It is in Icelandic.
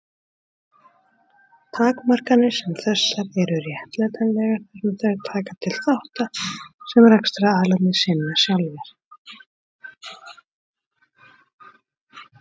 Takmarkanir sem þessar eru réttlætanlegar þar sem þær taka til þátta sem rekstraraðilarnir sinna sjálfir.